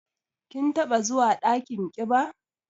Kin taɓa zuwa dakin ƙiba?